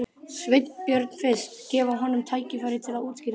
Sveinbjörn fyrst, gefa honum tækifæri til að útskýra þetta.